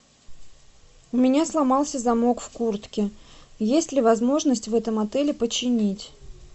у меня сломался замок в куртке есть ли возможность в этом отеле починить